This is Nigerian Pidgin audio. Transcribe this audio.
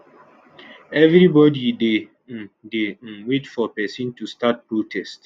everybody dey um dey um wait for pesin to start protest